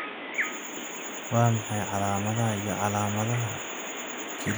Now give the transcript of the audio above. Waa maxay calaamadaha iyo calaamadaha kelyaha nutcracker syndrome?